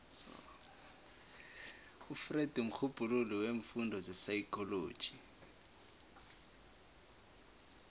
ufreud mrhubhululi weemfundo zepsychology